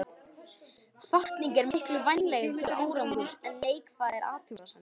Hvatning er miklu vænlegri til árangurs en neikvæðar athugasemdir.